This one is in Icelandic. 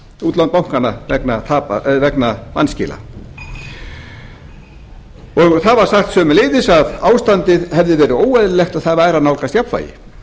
útlán bankanna vegna vanskila það var sagt sömuleiðis að ástandið hefði verið óeðlilegt en það væri að nálgast jafnvægi